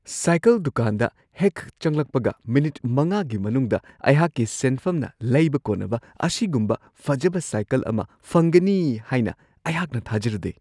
Cycle ꯗꯨꯀꯥꯟꯗ ꯍꯦꯛ ꯆꯪꯂꯛꯄꯒ ꯃꯤꯅꯤꯠ ꯵ꯒꯤ ꯃꯅꯨꯡꯗ ꯑꯩꯍꯥꯛꯀꯤ ꯁꯦꯟꯐꯝꯅ ꯂꯩꯕ ꯀꯣꯟꯅꯕ ꯑꯁꯤꯒꯨꯝꯕ ꯐꯖꯕ ꯁꯥꯏꯀꯜ ꯑꯃ ꯐꯪꯒꯅꯤ ꯍꯥꯏꯅ ꯑꯩꯍꯥꯛꯅ ꯊꯥꯖꯔꯨꯗꯦ ꯫